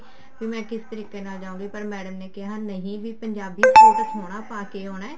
ਕੀ ਮੈਂ ਕਿਸ ਤਰੀਕੇ ਨਾਲ ਜਾਊਂਗੀ ਪਰ madam ਨੇ ਕਿਹਾ ਨਹੀਂ ਪੰਜਾਬੀ ਸੂਟ ਸੋਹਣਾ ਪਾ ਕੇ ਆਉਣਾ